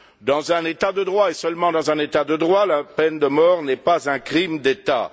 Dans un État de droit, et seulement dans un État de droit, la peine de mort n'est pas un crime d'État.